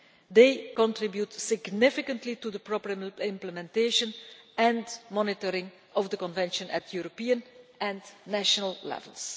They contribute significantly to the proper implementation and monitoring of the Convention at European and national levels.